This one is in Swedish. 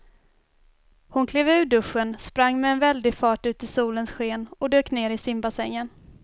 Hon klev ur duschen, sprang med väldig fart ut i solens sken och dök ner i simbassängen.